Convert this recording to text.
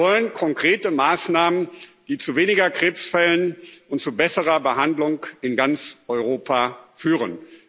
Wir wollen konkrete Maßnahmen, die zu weniger Krebsfällen und zu besserer Behandlung in ganz Europa führen.